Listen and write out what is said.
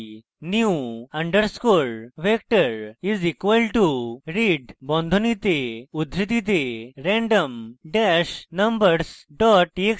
new underscore vector is equal to read বন্ধনীতে উদ্ধৃতিতে random dash numbers dot txt comma 19 comma 1